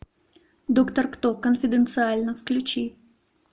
доктор кто конфиденциально включи